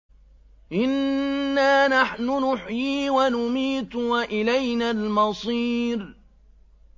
إِنَّا نَحْنُ نُحْيِي وَنُمِيتُ وَإِلَيْنَا الْمَصِيرُ